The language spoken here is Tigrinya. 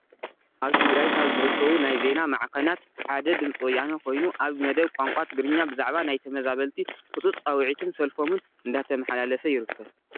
ኣብ ትግራይ ካብ ዝርከቡ ናይ ዜና ማዕኸናት ሓደ ድምፂ ወያነ ኮይኑ ኣብ መደብ ቋንቋ ትግርኛ ብዛዕባ ናይ ተመዛበልቲ ህፁፅ ፃዊዕትን ሰልፎምን እንዳተማሓላለፈ ይርከብ፡፡